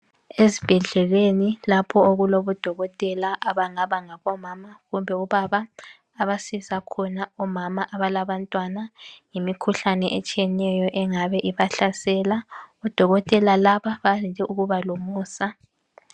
Ezibhedleleni okulabodokotela abangaba angabomana kumbe abobaba abasiza khona omama abalabantwana yimikhuhlane etshiyeneyo engabe ibihlasela odokotela laba bayande ukuba lomusa